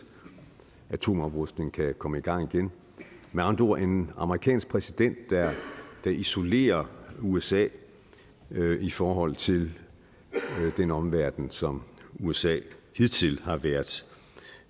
atomoprustningen kan komme i gang igen med andre ord en amerikansk præsident der isolerer usa i forhold til den omverden som usa hidtil har været